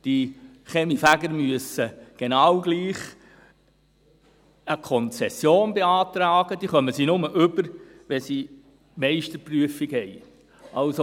Die Kaminfeger müssen genau gleich eine Konzession beantragen, die sie nur erhalten, wenn sie die Meisterprüfung haben.